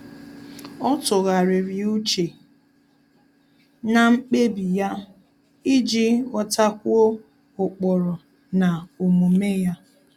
Ọ́ tụ́ghàrị̀rị̀ úchè na mkpébi ya iji ghọ́tákwúọ́ ụ́kpụ́rụ́ na omume ya.